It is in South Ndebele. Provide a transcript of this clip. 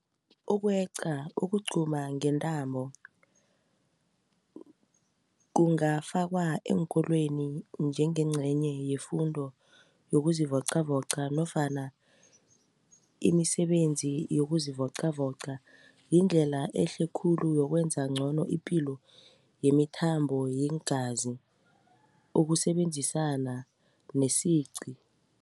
Ukweqa ukugquma ngentambo kungafakwa eenkolweni njengencenye yefundo yokuzivocavoca nofana imisebenzi yokuzivocavoca yindlela ehle khulu yokwenza ngcono ipilo yemithambo yeengazi ukusebenzisana nesiqi.